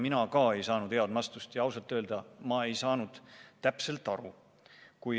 Mina ka ei saanud head vastust ja ausalt öelda ei saanud ma täpselt aru.